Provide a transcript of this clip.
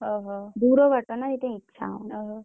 ହଉ ହଉ। ଦୁର ବାଟ ନା ସେଇଥୀ ପଇଁନ୍ ଇଛା ହଉନି। ଓହୋ।